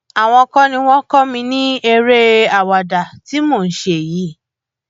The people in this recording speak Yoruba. àwọn kọ ni wọn kọ mi ní eré àwàdà tí mò ń ṣe yìí